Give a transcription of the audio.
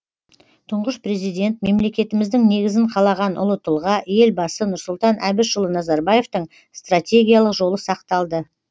тұңғыш президент мемлекетіміздің негізін қалаған ұлы тұлға елбасы нұрсұлтан әбішұлы назарбаевтың стратегиялық жолы сақталды